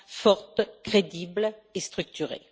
forte, crédible et structurée.